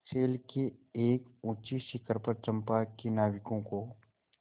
शैल के एक ऊँचे शिखर पर चंपा के नाविकों को